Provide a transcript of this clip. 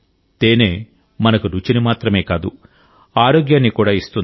తేనె మనకు రుచిని మాత్రమే కాదు ఆరోగ్యాన్ని కూడా ఇస్తుంది